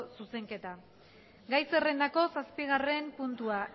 zuzenketa gai zerrendako zazpigarren puntua